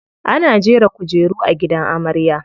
Ana jera kujeru a gidan amarya.